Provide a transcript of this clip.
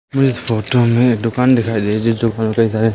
मुझे इस फोटो में दुकान दिखाई दे रही है जिस दुकान में सारे--